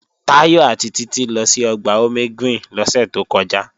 Táyọ̀ àti Títí lọ sí Ọgbà Omegreen lọ́sẹ̀ tó kọjá